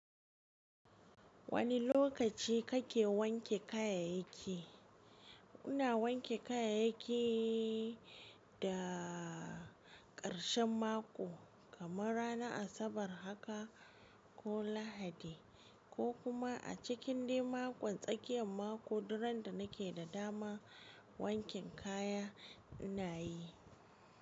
Wani lokaci kake wanke kayayaki? Ina wanke kayayaki da karshen mako, kamar ranar Asabar haka ko Lahadi, ko kuma a cikin dimaku tsakiyan mako duran da nake da dama wankin kaya ina yi.